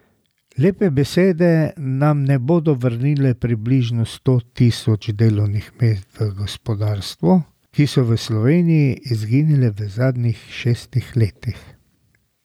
Lepe besede nam ne bodo vrnile približno sto tisoč delovnih mest v gospodarstvu, ki so v Sloveniji izginila v zadnjih šestih letih.